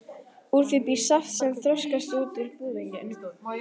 Úr þeim bý ég saft sem þroskast út á búðing.